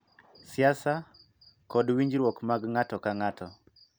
Siasa, kod winjruok mag ng�ato ka ng�ato,